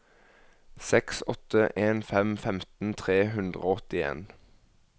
seks åtte en fem femten tre hundre og åttien